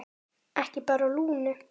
Ekki bara Lúnu.